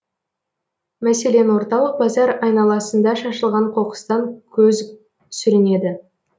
мәселен орталық базар айналасында шашылған қоқыстан көз сүрінеді